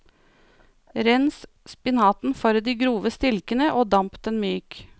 Rens spinaten for de grove stilkene og damp den myk.